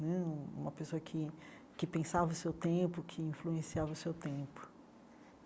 Né uma pessoa que que pensava o seu tempo, que influenciava o seu tempo.